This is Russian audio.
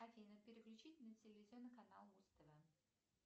афина переключить на телевизионный канал муз тв